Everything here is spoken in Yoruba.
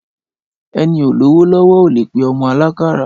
Ẹni ó lówò lọwọ ólẹ pẹ ọmọ àlàkàrà